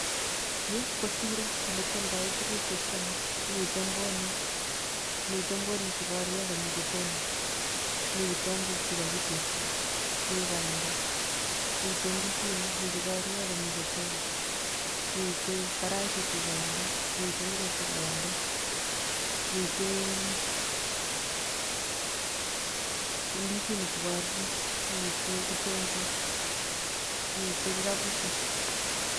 Yu ko siro ole kyoldoe tuguk chekyomei. Mitei mbonik, mitei mbonik che kakoruryo ak komi chetomo, mi kitongook che kakitepto. Mi pandeek, mitei ndisinik, mi che kakoruryo ak komi chetomo. Mitei karaisiek che kealdoi, mitei ngoroik che kealdoi. Mitei pause ndisinik che kakoruryo, mitei kitongook, mitei kikabusiek.